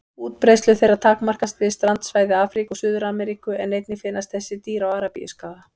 Útbreiðslu þeirra takmarkast við strandsvæði Afríku og Suður-Ameríku en einnig finnast þessi dýr á Arabíuskaga.